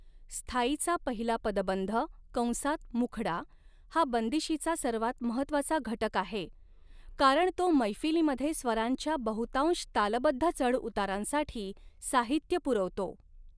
स्थायीचा पहिला पदबंध कंसात मुखडा हा बंदिशीचा सर्वात महत्त्वाचा घटक आहे कारण तो मैफिलीमध्ये स्वरांच्या बहुतांश तालबद्ध चढउतारांसाठी साहित्य पुरवतो.